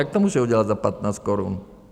Jak to můžou udělat za 15 korun?